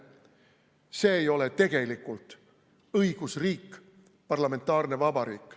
See ei ole tegelikult õigusriik, parlamentaarne vabariik.